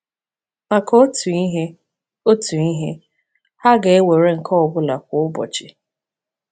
Maka otu ihe, otu ihe, ha ga- “ewere nke ọ bụla kwa ụbọchị.”